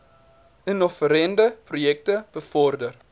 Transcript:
innoverende projekte bevorder